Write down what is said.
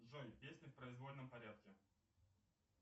джой песни в произвольном порядке